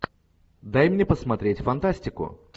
дай мне посмотреть фантастику